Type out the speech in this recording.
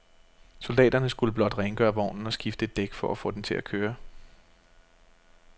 Soldaterne skulle blot rengøre vognen og skifte et dæk for at få den til at køre.